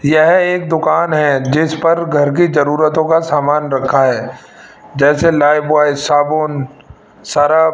यह एक दुकान है जिस पर घर की जरूरतो का सामान रखा है जैसे लाइफबॉय साबुन सर्फ --